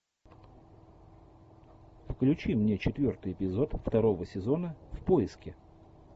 включи мне четвертый эпизод второго сезона в поиске